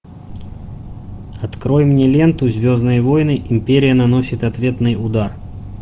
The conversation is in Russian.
открой мне ленту звездные войны империя наносит ответный удар